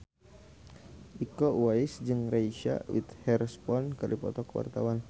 Iko Uwais jeung Reese Witherspoon keur dipoto ku wartawan